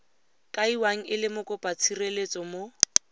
kaiwang e le mokopatshireletso mo